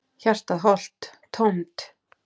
Hjartað holt, tómt.